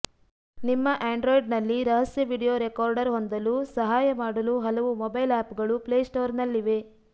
ನಿಮ್ಮ ಆಂಡ್ರಾಯ್ಡ್ನಲ್ಲಿ ರಹಸ್ಯ ವೀಡಿಯೊ ರೆಕಾರ್ಡರ್ ಹೊಂದಲು ಸಹಾಯ ಮಾಡಲು ಹಲವು ಮೊಬೈಲ್ ಆಪ್ಗಳು ಪ್ಲೇಸ್ಟೋರ್ನಲ್ಲಿವೆ